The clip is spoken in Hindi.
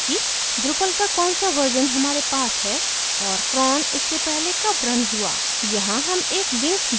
जैसे कि drupal का कौन सा version हमारे पास है और cron इससे पहले कब रन हुआ